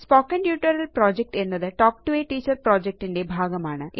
spoken tutorial project എന്നത് talk to a teacher project ന്റെ ഒരു ഭാഗമാണ്